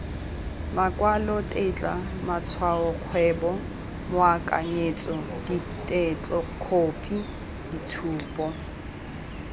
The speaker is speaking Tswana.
makwalotetla matshwaokgwebo moakanyetso ditetlokhophi ditshupo